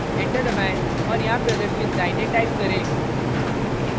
enter दबाएं और यहाँ प्रदर्शित लाइनें type करें